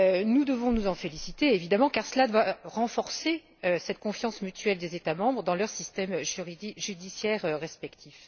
Nous devons nous en féliciter, évidemment, car cela doit renforcer cette confiance mutuelle des États membres dans leurs systèmes judiciaires respectifs.